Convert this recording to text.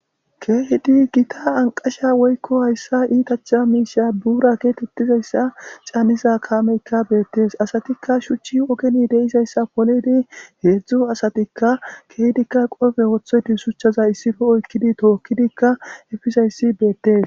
keehidi gita anqasha woykko hayssa iitacha miisha buura keetettizayssa caaniza kaameykka beettes asatikka shuchchi ogeni deisayssa polidi heedzdzu asatikka keehidikka qofe wothoyti shuchchaza issife oykkidi tookkidikka efisayssi beettes